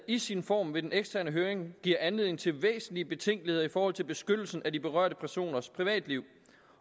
i sin form ved den eksterne høring giver anledning til væsentlige betænkeligheder i forhold til beskyttelsen af de berørte personers privatliv